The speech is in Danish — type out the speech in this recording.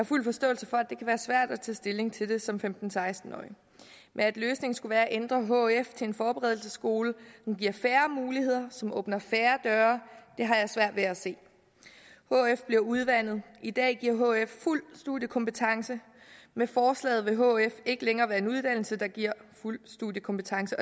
fuld forståelse for at det kan være svært at tage stilling til det som femten til seksten årig men at løsningen skulle være at ændre hf til en forberedelsesskole som giver færre muligheder som åbner færre døre har jeg svært ved at se hf bliver udvandet i dag giver hf fuld studiekompetence med forslaget vil hf ikke længere være en uddannelse der giver fuld studiekompetence